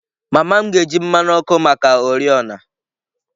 Mama m ga-eji mmanụ ọkụ maka oriọna.